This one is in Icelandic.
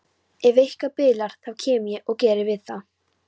Ef eitthvað bilar þá kem ég og geri við það.